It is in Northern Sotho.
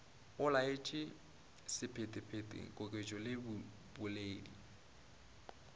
olaotše sephetephete koketšo le boledi